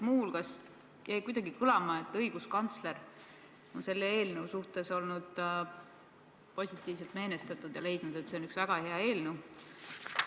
Muu hulgas jäi kuidagi kõlama, et õiguskantsler on selle eelnõu suhtes olnud positiivselt meelestatud ja leidnud, et see on üks väga hea eelnõu.